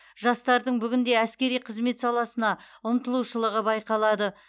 жастардың бүгінде әскери қызмет саласына ұмтылушылығы байқалады